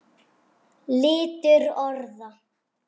Litur orða